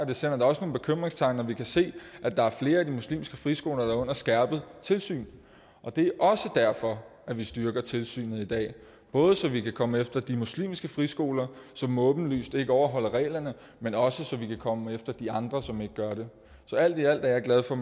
det sender da også nogle bekymringstegn når vi kan se at der er flere af de muslimske friskoler der er under skærpet tilsyn det er også derfor vi styrker tilsynet i dag både så vi kan komme efter de muslimske friskoler som åbenlyst ikke overholder reglerne men også så vi kan komme efter de andre som ikke gør det så alt i alt er jeg glad for